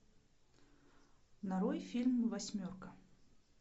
нарой фильм восьмерка